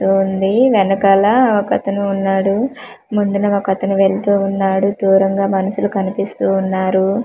తూ ఉంది వెనకాల ఒక అతను ఉన్నాడు ముందున ఒక అతను వెళ్తు ఉన్నాడు దూరంగా మనుషులు కనిపిస్తూ ఉన్నారు.